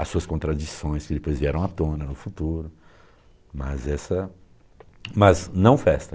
as suas contradições que depois vieram à tona no futuro, mas essa, mas não festa.